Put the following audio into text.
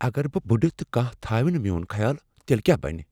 اگر بہٕ بُڈٕ تہٕ کانہہ تھاوِ نہ میون خیال تیلہٕ کیاہ بنہ ؟